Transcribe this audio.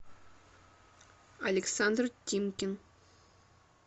александр тимкин